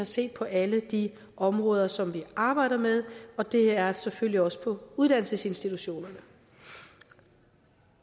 ser på alle de områder som vi arbejder med og det er selvfølgelig også på uddannelsesinstitutionerne